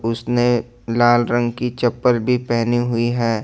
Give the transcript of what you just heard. उसने लाल रंग की चप्पल भी पहनी हुई है।